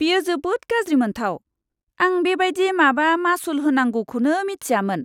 बेयो जोबोद गाज्रि मोनथाव! आं बेबायदि माबा मासुल होनांगौखौनो मिथियामोन!